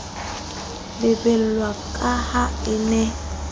lebellwa ka ha e ne